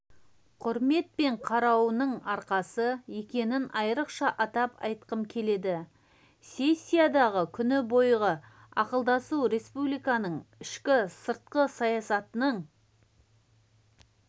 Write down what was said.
құрметпен қарауының арқасы екенін айрықша атап айтқым келеді сессиядағы күні бойғы ақылдасу республиканың ішкі-сыртқы саясатының